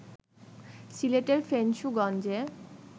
সিলেটের ফেঞ্চুগঞ্জে